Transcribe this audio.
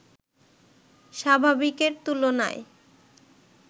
স্বাভাবিকের তুলনায়